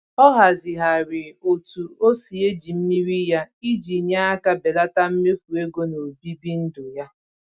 Ọ hazịghari otu o si eji mmiri ya iji nye aka belata mmefu ego n'obibi ndụ ya.